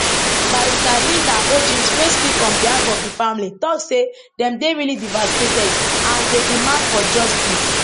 barrister linda ojims wey speak on behalf of di family tok say dem dey really devastated and dey demand for justice